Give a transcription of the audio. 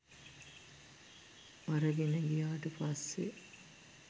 අරගෙන ගියාට පස්සේ